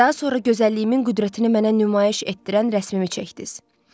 Daha sonra gözəlliyimin qüdrətini mənə nümayiş etdirən rəsmimi çəkdiz.